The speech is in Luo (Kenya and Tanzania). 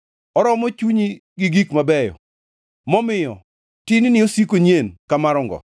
oromo chunyi gi gik mabeyo momiyo tin-ni osiko nyien ka mar ongo.